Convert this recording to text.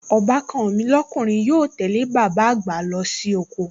Ọbàkan mi lọ́kùnrin yóò tẹ́lẹ̀ bàbá àgbà lọ sí oko